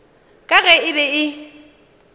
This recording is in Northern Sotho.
ka ge e be e